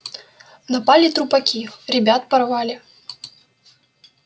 напали трупаки ребят порвали